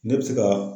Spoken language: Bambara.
Ne bɛ se ka